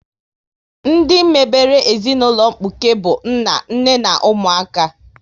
Ndị mebere ezinaụlọ mkpuke bụ nna, nne na ụmụaka